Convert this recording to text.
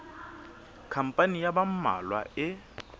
khampani ya ba mmalwa e